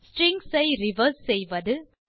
strings ஐ reverse செய்வது